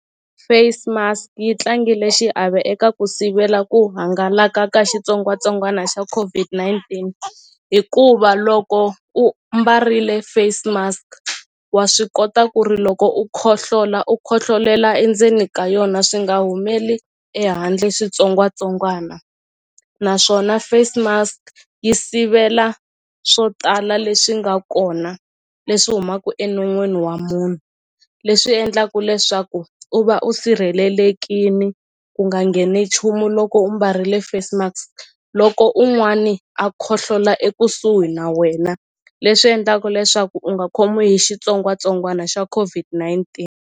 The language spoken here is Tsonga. Face mask yi tlangile xiave eka ku sivela ku hangalaka ka xitsongwatsongwana xa COVID-19 hikuva loko u mbarile face mask wa swi kota ku ri loko u khohlola u khohlolela endzeni ka yona swi nga humeli ehandle switsongwatsongwana naswona face mask yi sivela swo tala leswi nga kona leswi humaku enon'wini wa munhu leswi endlaku leswaku u va u sirhelelekini ku nga ngheni chumu loko u mbarile face mask loko un'wani a khohlola ekusuhi na wena leswi endlaka leswaku u nga khomiwi hi xitsongwatsongwana xa COVID-19.